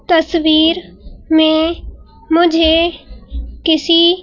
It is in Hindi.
तस्वीर में मुझे किसी--